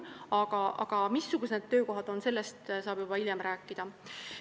Aga sellest, missugused need töökohad on, saab juba hiljem rääkida.